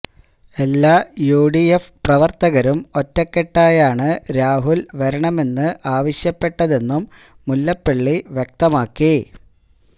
എല്ലാ യുഡിഎഫ് പ്രവർത്തകരും ഒറ്റക്കെട്ടായാണ് രാഹുൽ വരണമെന്ന് ആവശ്യപ്പെട്ടതെന്നും മുല്ലപ്പള്ളി വ്യക്തമാക്കി